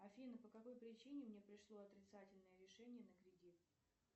афина по какой причине мне пришло отрицательное решение на кредит